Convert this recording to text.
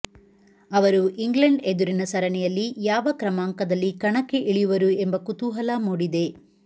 ಅವರು ಇಂಗ್ಲೆಂಡ್ ಎದುರಿನ ಸರಣಿಯಲ್ಲಿ ಯಾವ ಕ್ರಮಾಂಕದಲ್ಲಿ ಕಣಕ್ಕೆ ಇಳಿಯುವರು ಎಂ ಬ ಕುತೂಹಲ ಮೂಡಿದೆ